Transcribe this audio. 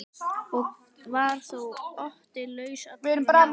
Og var þó Otti laus allra mála.